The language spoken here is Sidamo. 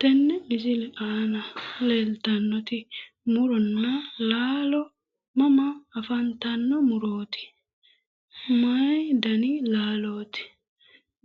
Tenne misile aana leeltannoti muronna laalo mama afantanno murooti? maYi dani laalooti?